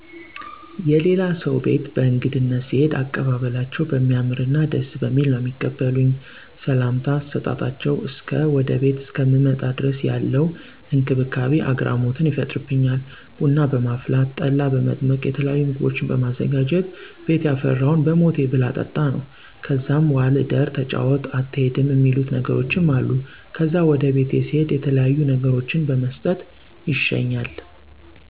የላሌ ሰው ቤት በእግድነት ስሄድ አቀባበላቸው በሚያምርና ደስ በሚል ነው ሚቀበሉኝ። ሰምታ ከሰጣጣቸው እስከ ወደ ቤቴ እስከምመጣ ድረስ ያለው እክብካቤ አግራሞትን ይፈጥርበኛል። ቡና በማፍላት፣ ጠላ በመጥመቅ የተለያዩ ምግቦችን በማዘጋጀት ቤት የፈራውን በሞቴ ብላ ጠጣ ነው። ከዛም ዋል እደር ተጫወት አትሄድም እሚሉ ነገሮችም አሉ። ከዛም ወደ ቤቴ ስሄድ የተለያዩ ነገሮችን በመስጠት ይሸኛል።